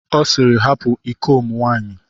Ọ sịịrị, hapụ iko m nwaanyị.